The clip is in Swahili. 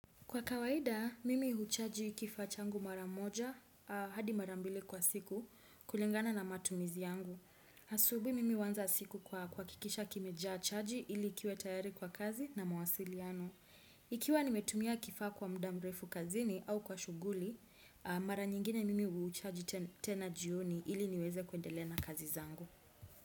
Kwa kawaida, mimi huchaji kifaa changu mara moja hadi mara mbili kwa siku kulingana na matumizi yangu. Asubuhi mimi huanza siku kwa kuhakikisha kimejaa chaji ili kiwe tayari kwa kazi na mawasiliano. Ikiwa nimetumia kifaa kwa muda mrefu kazini au kwa shughuli, mara nyingine mimi huchaji tena jioni ili niweze kuendelea na kazi zangu.